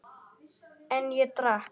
En ég drakk.